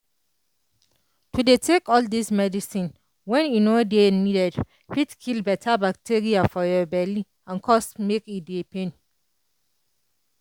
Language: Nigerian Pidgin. to dey take all dis medicine when e no dey needed fit kill beta bacteria for your belly and cause make e dey pain